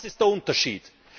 Das ist der Unterschied!